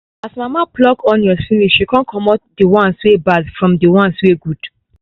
as mama pluck onions finish she con comot the ones wey bad from the ones wey good